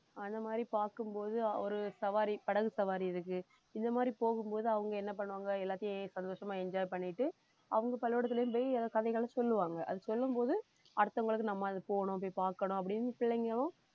அந்த மாதிரி பார்க்கும் போது ஒரு சவாரி படகு சவாரி இருக்கு இந்த மாதிரி போகும்போது அவங்க என்ன பண்ணுவாங்க எல்லாத்தையும் சந்தோஷமா enjoy பண்ணிட்டு அவங்க பள்ளிக்கூடத்திலேயும் போய் கதைகளை சொல்லுவாங்க அதை சொல்லும் போது அடுத்தவங்களுக்கு நம்ம அது போகணும் போய் பார்க்கணும் அப்படின்னு பிள்ளைங்களும்